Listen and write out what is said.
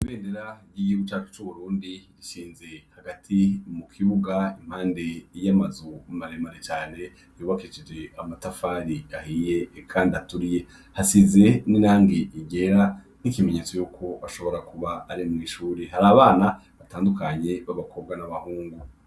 Bendera ryiyebucaka c'uburundi rishinze hagati mu kibuga impande iyoamazu umaremare cane yubakejije amatafari ahiye, kandi aturiye hasize n'inange igera n'ikimenyetso yuko bashobora kuba ari mw'ishuri hari abana batandukanye b'abakobwa n'abahungu.